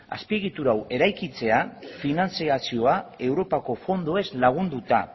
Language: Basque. azpiegitura hau eraikitzea finantziazioa europako fondoez lagunduta